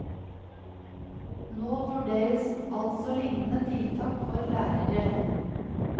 Nå vurderes altså lignende tiltak for lærere.